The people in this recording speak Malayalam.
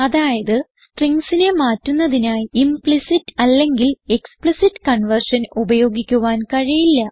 അതായത് stringsനെ മാറ്റുന്നതിനായി ഇംപ്ലിസിറ്റ് അല്ലെങ്കിൽ എക്സ്പ്ലിസിറ്റ് കൺവേർഷൻ ഉപയോഗിക്കുവാൻ കഴിയില്ല